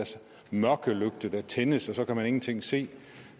mørkelygte der tændes og så kan man ingenting se